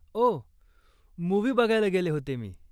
ओह, movie बघायला गेले होते मी.